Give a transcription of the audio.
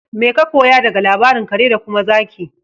Mai ka koya daga labarin kare da kuma zaki?